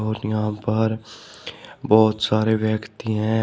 यहां पर बहोत सारे व्यक्ति हैं।